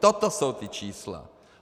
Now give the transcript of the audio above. Toto jsou ta čísla.